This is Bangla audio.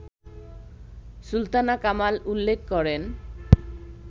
সুলতানা কামাল উল্লেখ করেন